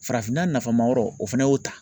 Farafinna nafa ma yɔrɔ o fana y'o ta.